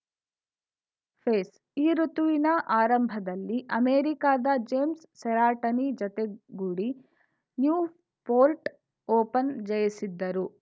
phase ಈ ಋುತುವಿನ ಆರಂಭದಲ್ಲಿ ಅಮೆರಿಕಾದ ಜೇಮ್ಸ್‌ ಸೆರೆಟಾನಿ ಜತೆಗೂಡಿ ನ್ಯೂಪೋರ್ಟ್‌ ಓಪನ್‌ ಜಯಿಸಿದ್ದರು